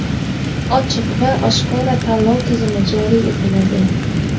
ochiq va oshkora tanlov tizimi joriy etiladi.